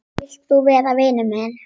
Vilt þú vera vinur minn?